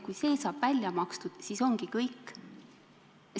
Kui see saab välja makstud, siis ongi kõik!